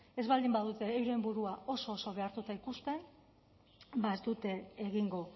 ez baldin badute euren burua oso oso behartuta ikusten ba ez dute egingo